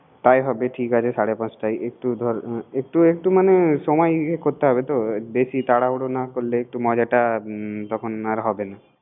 তাই হবে ঠিক আছে সারে পাচটাই। একটু একটু সময় নিয়ে করতে হবে তো। বেশি তারাহুরা না করলে একটু মজাটা আর হবে না